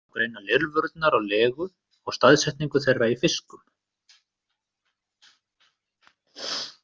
Einnig má greina lirfurnar á legu og staðsetningu þeirra í fiskum.